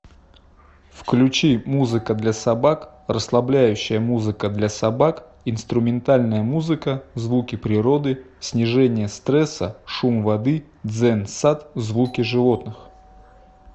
включи музыка для собак расслабляющая музыка для собак инструментальная музыка звуки природы снижение стресса шум воды дзен сад звуки животных